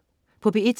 P1: